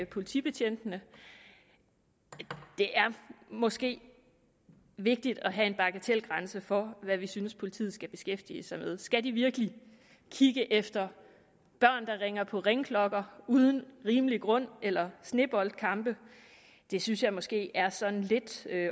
politibetjentene det er måske vigtigt at have en bagatelgrænse for hvad vi synes politiet skal beskæftige sig med skal de virkelig kigge efter børn der ringer på ringeklokker uden rimelig grund eller sneboldkampe det synes jeg måske er sådan lidt